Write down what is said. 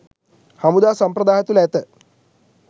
හමුදා සම්ප්‍රදාය තුළ ඇත